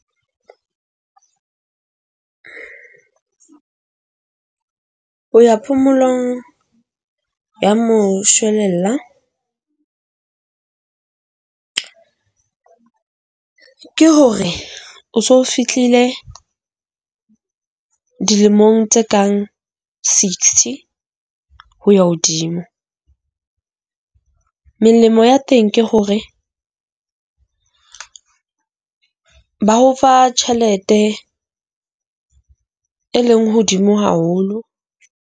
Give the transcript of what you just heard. Ho ya phomolong ya moshwelella ke hore o so fihlile dilemong tse kang sixty ho ya hodimo. Melemo ya teng ke hore ba o fa tjhelete e leng hodimo haholo.